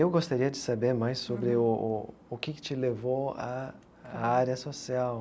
Eu gostaria de saber mais sobre o o o que que te levou a a área social.